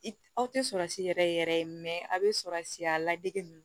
Aw tɛ sɔrɔsi yɛrɛ yɛrɛ aw bɛ sɔrɔsi a ladege ninnu